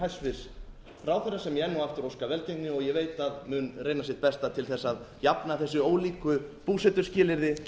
hæstvirts ráðherra sem ég enn og aftur óska velgengni og ég veit að mun reyna sitt besta til að jafna þessi ólíku búsetuskilyrði